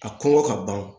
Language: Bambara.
A kɔnkɔ ka ban